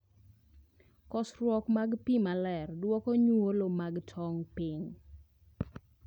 Kosruok mar pii maler duoko nyuolo mag tong piny